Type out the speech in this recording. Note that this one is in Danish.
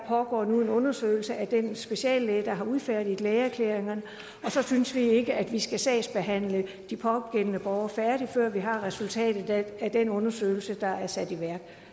pågår nu en undersøgelse af den speciallæge der har udfærdiget lægeerklæringerne og så synes vi ikke at vi skal sagsbehandle de pågældende sager færdig før vi har resultatet af den undersøgelse der er sat i værk